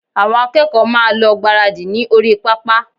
Àwọn akẹ́kọ̀ọ́ máa lọ gbáradì ní orí pápá